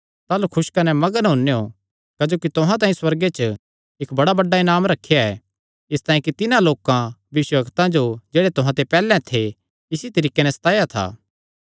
ताह़लू खुस कने मग्न होनेयों क्जोकि तुहां तांई सुअर्गे च इक्क बड़ा बड्डा इनाम रखेया ऐ इसतांई कि तिन्हां लोकां भविष्यवक्तां जो जेह्ड़े तुहां ते पैहल्ले थे इसी तरीके नैं सताया था